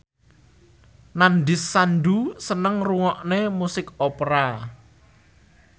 Nandish Sandhu seneng ngrungokne musik opera